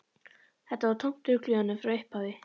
Þetta var tómt rugl í honum frá upphafi.